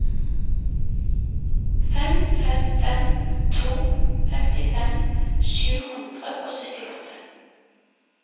fem fem fem to femtifem sju hundre og syttiåtte